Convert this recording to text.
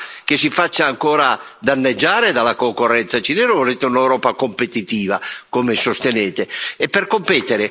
Voi volete un'Europa che si faccia ancora danneggiare dalla concorrenza cinese o volete un'Europa competitiva, come sostenete?